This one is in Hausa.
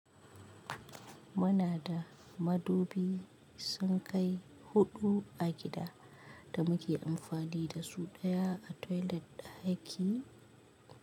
Muna da madubi sunkai huɗu a gida da muke amfani da su ɗaya a toilet ɗaki.